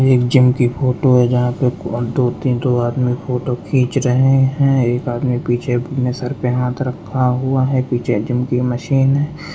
एक जिम कि फोटो है जहां पे दो तीन ठो आदमी फोटो खींच रहे हैं एक आदमी पीछे अपने सर पे हाथ रखा हुआ है पीछे जिम कि मशीन है।